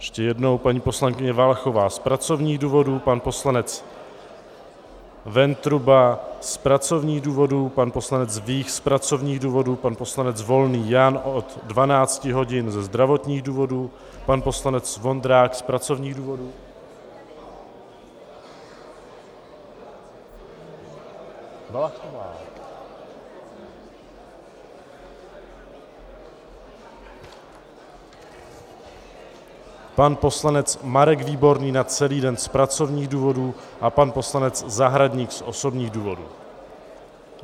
Ještě jednou, paní poslankyně Valachová z pracovních důvodů, pan poslanec Ventruba z pracovních důvodů, pan poslanec Vích z pracovních důvodů, pan poslanec Volný Jan od 12 hodin ze zdravotních důvodů, pan poslanec Vondrák z pracovních důvodů, pan poslanec Marek Výborný na celý den z pracovních důvodů a pan poslanec Zahradník z osobních důvodů.